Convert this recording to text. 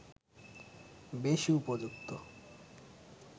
বেশি উপযুক্ত